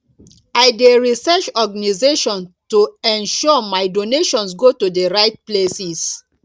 i dey research organizations to ensure my donations go to the right places